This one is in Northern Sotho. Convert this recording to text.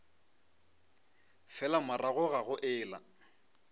fela morago ga go ela